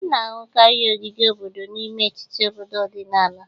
A na-ahụkarị ogige obodo n'ime etiti obodo ọdịnala